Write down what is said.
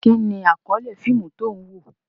Kí ni àkọ́lé fíìmù tí ó ń wò?